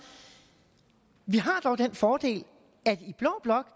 vi har dog den fordel at i blå blok